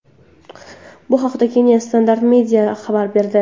Bu haqda Kenya’s Standard Media xabar berdi .